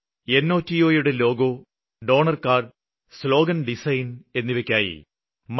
നോട്ടോ യുടെ logo donor card slogan design എന്നിവയ്ക്കായി mygov